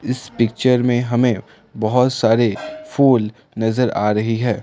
इस पिक्चर में हमें बहोत सारे फूल नजर आ रहे है।